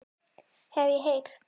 Hef ég heyrt.